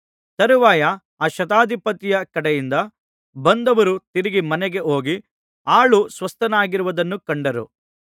ತರುವಾಯ ಆ ಶತಾಧಿಪತಿಯ ಕಡೆಯಿಂದ ಬಂದವರು ತಿರುಗಿ ಮನೆಗೆ ಹೋಗಿ ಆಳು ಸ್ವಸ್ಥನಾಗಿರುವುದನ್ನು ಕಂಡರು